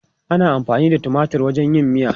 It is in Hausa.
Ana amfani da tumatir wajen yin miya.